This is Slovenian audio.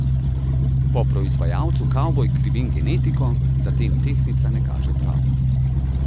Po proizvajalcu kavbojk krivim genetiko, zatem tehtnica ne kaže prav.